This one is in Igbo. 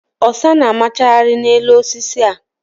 Ọsá na amaghara n'elu osisi a.